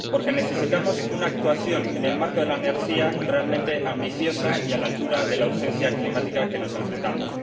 Porque necesitamos una actuación en el marco de la energía realmente ambiciosa y a la altura de la urgencia climática a la que nos enfrentamos.